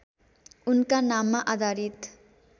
उनका नाममा आधारित